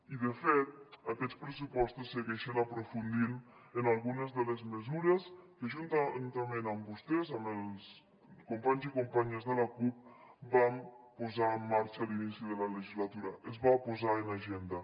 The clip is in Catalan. i de fet aquests pressupostos segueixen aprofundint en algunes de les mesures que juntament amb vostès amb els companys i companyes de la cup vam posar en marxa a l’inici de la legislatura es va posar en agenda